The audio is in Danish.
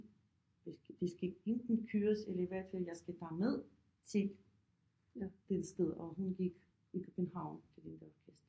Da skal de skal enten køres eller i hvert fald jeg skal bare med til den sted og hun gik i København til den der orkester